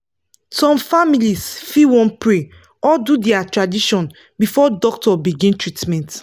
some families fit wan pray or do dia tradition before doctor begin treatment.